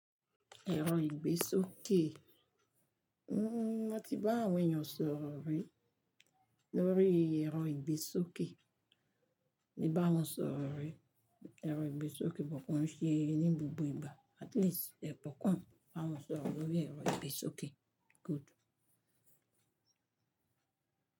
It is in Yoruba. Ẹ̀rọ ìgbésókè. N mo ti bá àwọn èèyàn sọ̀rọ̀ rí lórí ẹ̀rọ ìgbésókè. Mo báwọn sọ̀rọ̀ rí, ẹ̀rọ ìgbésókè but koún ṣe ní gbogbo ìgbà. At least, ẹkankàn bá wọn sọ̀rọ̀ lórí ẹ̀rọ ìgbésókè. Good.